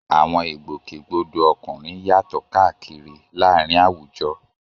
Àwọn ìgbòkègbodò ọkùnrin yàtọ̀ káàkiri láàárín àwùjọ.